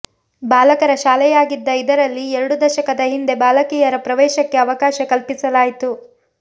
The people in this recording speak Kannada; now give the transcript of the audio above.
ಬಾಲಕರ ಶಾಲೆಯಾಗಿದ್ದ ಇದರಲ್ಲಿ ಎರಡು ದಶಕದ ಹಿಂದೆ ಬಾಲಕಿಯರ ಪ್ರವೇಶಕ್ಕೆ ಅವಕಾಶ ಕಲ್ಪಿಸಲಾಯಿತು